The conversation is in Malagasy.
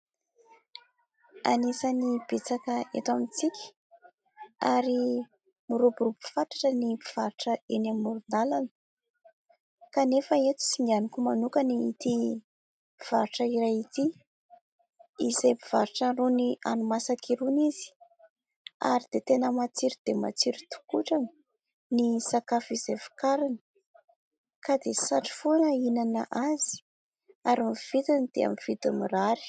Anisany betsaka eto amintsika ary miroborobo-fatratra ny mpivarotra eny amoron-dalana, kanefa eto singaniko manoka ity mpivarotra iray ity izay mpivarotra rony hanina masaka irony izy. Ary dia tena matsiro dia matsiro tokotrany ny sakafo izay vokariny ka dia satry foana hinana azy ary ny vidiny dia amin'ny vidiny mirary.